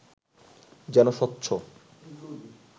যেন স্বচ্ছ